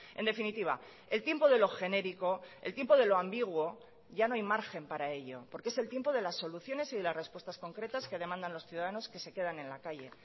en definitiva el tiempo de lo genérico el tiempo de lo ambiguo ya no hay margen para ello porque es el tiempo de las soluciones y de las respuestas concretas que demandan los ciudadanos que se quedan en la calle